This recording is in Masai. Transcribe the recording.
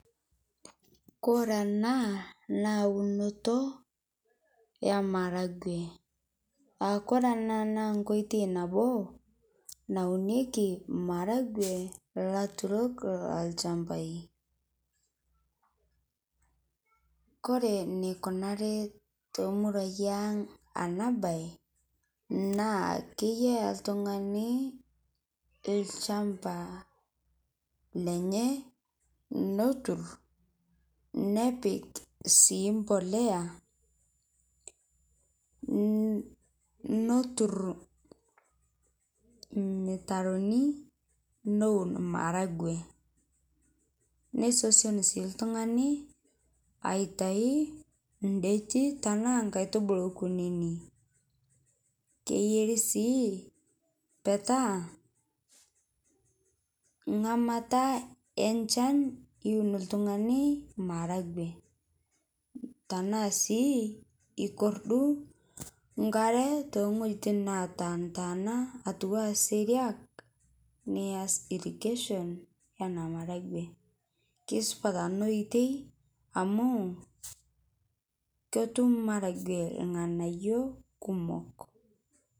Kore anaa naa unotoo emaragwee aakore ana naa nkoitei nabo nauneki maragwee laturok lolshampai, kore neikunari temuruai ang' ana bai naa keyaa ltung'ani lshampa lenyee notur nepik sii mpolea notur lmitaroni nowun maragwee neisosion sii ltung'ani aitai ndeti tanaa nkaitubulu kuninii keyari sii petaa ng'amata enshan iwun ltung'ani maragwee tanaa sii ikorduu nkare tengojitin natantaana atuwaa seriak nias irrigation enaa maragwe keisupat ana oitei amu kotum maragwee lganayo kumok.